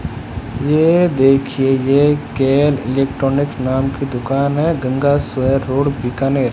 ये देखिए ये केयर इलेक्ट्रॉनिक्स नाम की दुकान है गंगा शहर रोड बीकानेर --